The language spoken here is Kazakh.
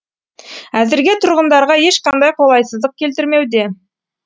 әзірге тұрғындарға ешқандай қолайсыздық келтірмеуде